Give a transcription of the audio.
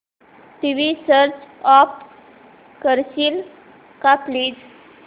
TV switch off करशील का please